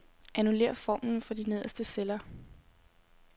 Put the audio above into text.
Annullér formlen for de nederste celler.